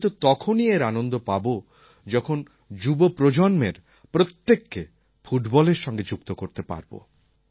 আমি তো তখনই এর আনন্দ পাব যখন যুব প্রজন্মের প্রত্যেককে ফুটবলের সঙ্গে যুক্ত করতে পারব